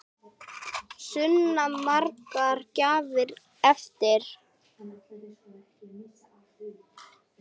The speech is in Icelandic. Sunna: Margar gjafir eftir?